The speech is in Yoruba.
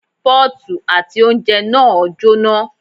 Pọ́ọ̀tù àti oúnjẹ náà jọ́ná.